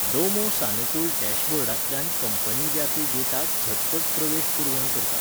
डोमो सानुकूल डॅशबोर्डांतल्यान कंपनी व्यापी डेटाक झटपट प्रवेश पुरवण करता.